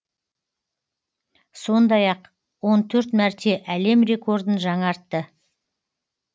сондай ақ он төрт мәрте әлем рекордын жаңартты